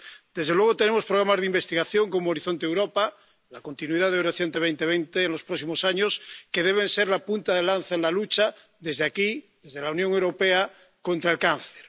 Desde luego, tenemos programas de investigación como Horizonte Europa —la continuación de Horizonte 2020 en los próximos años— que deben ser la punta de lanza en la lucha desde aquí, desde la Unión Europea, contra el cáncer.